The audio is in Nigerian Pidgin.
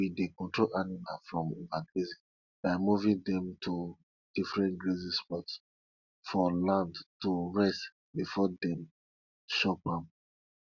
we dey control animals from overgrazing by moving dem to different grazing spots for land to rest before dem chop am